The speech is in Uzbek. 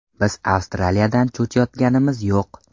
Biz Avstraliyadan cho‘chiyotganimiz yo‘q.